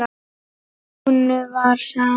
Lúnu var sama.